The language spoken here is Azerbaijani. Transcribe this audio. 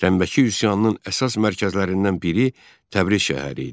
Tənbəki üsyanının əsas mərkəzlərindən biri Təbriz şəhəri idi.